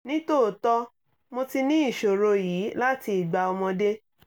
ní tòótọ́ mo ti ní ìṣòro yìí láti ìgbà ọmọdé